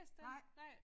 Nej